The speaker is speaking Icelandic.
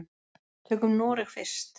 Tökum Noreg fyrst.